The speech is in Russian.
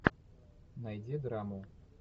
найди драму